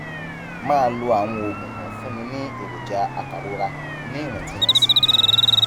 máa lo àwọn oògùn tó ń fúnni ní èròjà apàrora ní ìwọntúnwọnsì